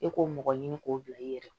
E k'o mɔgɔ ɲini k'o bila i yɛrɛ ye